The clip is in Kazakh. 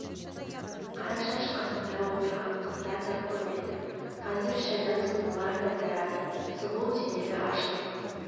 қарашаш қасында отырған қыздар да көп еді қазір шайдан соң олар да тарады сұлу денелі ашық